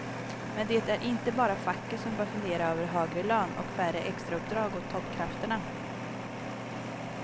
Men det är inte bara facket som bör fundera över högre lön och färre extrauppdrag åt toppkrafterna.